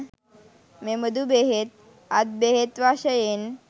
මෙබඳු බෙහෙත්, අත් බෙහෙත් වශයෙන්